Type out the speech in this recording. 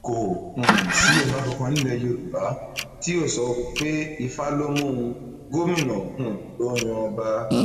kò um sí ọba kankan nílẹ yorùbá tí yóò sọ pé ifá ló mú òun gómìnà um ló ń yan ọba